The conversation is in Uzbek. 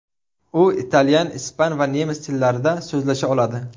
U italyan, ispan va nemis tillarida so‘zlasha oladi.